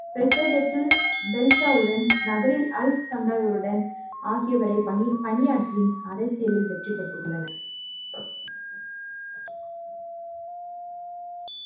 ஹெர்சடெட்லில் பெல்ஸாவுடன் நகரில் அலக்ஸாந்தவுடன் ஆகியவரை பணியாற்றி அரசியலில் வெற்றிப்பட்டுள்ளனர்.